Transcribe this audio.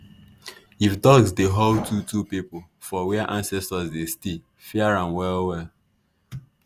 if dogs dey howl two-two people for where ancestors dey stay fear am well well.